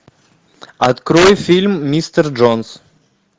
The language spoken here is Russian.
открой фильм мистер джонс